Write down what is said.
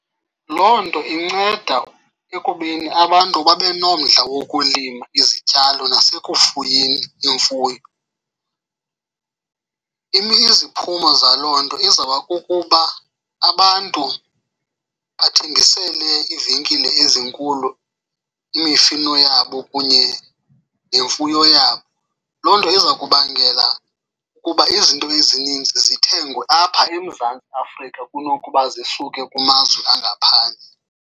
Loo nto inceda ekubeni abantu babe nomdla wokulima izityalo nasekufuyeni imfuyo. Iziphumo zaloo nto izawuba kukuba abantu bathengisele iivenkile ezinkulu imifino yabo kunye nemfuyo yabo. Loo nto iza kubangela ukuba izinto ezininzi zithengwe apha eMzantsi Afrika kunokuba zisuke kumazwe angaphandle.